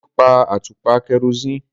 Deji pa atupa kerosene.